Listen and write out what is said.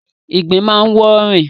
ìgbín máa ń wọ́ rìn.